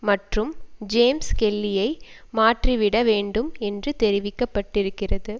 மற்றும் ஜேம்ஸ் கெல்லியை மாற்றிவிட வேண்டும் என்று தெரிவிக்க பட்டிருக்கிறது